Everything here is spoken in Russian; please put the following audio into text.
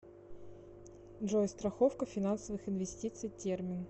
джой страховка финансовых инвестиций термин